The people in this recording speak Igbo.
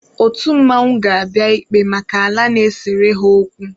Otu mmanwụ ga-abịa ikpe maka ala na-esere ha okwu.